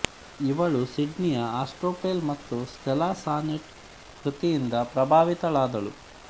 ಇವಳು ಸಿಡ್ನಿಯ ಆಸ್ತ್ರೊಪೆಲ್ ಮತ್ತು ಸ್ಟೆಲಾ ಸಾನೆಟ್ ಕೃತಿಯಿಂದ ಪ್ರಬಾವಿತಳಾದಳು